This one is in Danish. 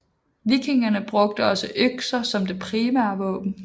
Vikingerne brugte også økser som det primære våben